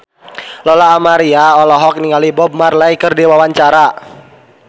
Lola Amaria olohok ningali Bob Marley keur diwawancara